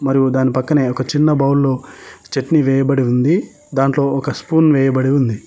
మరియు దాని పక్కనే ఒక చిన్న బౌల్లో చట్నీ వేయబడి ఉంది దాంట్లో ఒక స్పూన్ వేయబడి ఉంది.